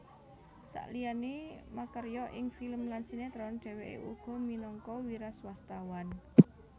Saliyané makarya ing film lan sinétron dhèwèké uga minangka wiraswastawan